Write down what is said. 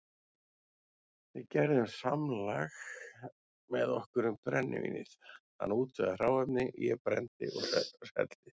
Við gerðum samlag með okkur um brennivínið, hann útvegaði hráefni, ég brenndi og seldi.